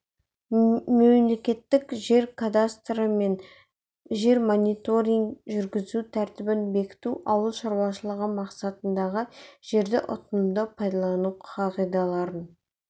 мемлекеттік жер кадастры мен жер мониторингін жүргізу тәртібін бекіту ауыл шаруашылығы мақсатындағы жерді ұтымды пайдалану қағидаларын